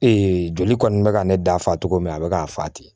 joli kɔni bɛ ka ne da fa cogo min na a bɛ k'a fa ten